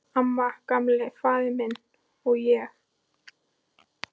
Amma, Gamli faðir minn, og ég.